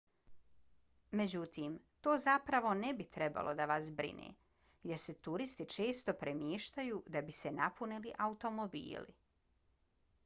međutim to zapravo ne bi trebalo da vas brine jer se turisti često premještaju da bi se napunili automobili